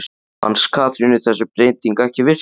Fannst Katrínu þessi breyting ekki virka?